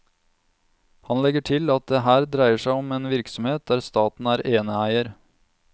Han legger til at det her dreier seg om en virksomhet der staten er eneeier.